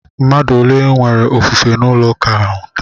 Mmadụ ole nwere ofufe n'ụlọ ụka ahụ?